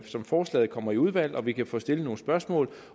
som forslaget kommer i udvalg og vi kan få stillet nogle spørgsmål